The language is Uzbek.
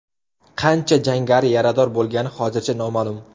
Qancha jangari yarador bo‘lgani hozircha noma’lum.